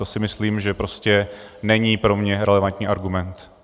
To si myslím, že prostě není pro mě relevantní argument.